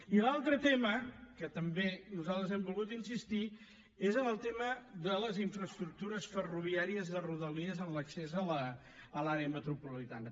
i l’altre tema en què també nosaltres hem volgut insistir és en el tema de les infraestructures ferroviàries de rodalies en l’accés a l’àrea metropolitana